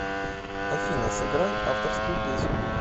афина сыграй авторскую песню